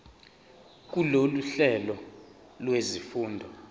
kulolu hlelo lwezifundo